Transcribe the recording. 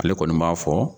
Ale kɔni b'a fɔ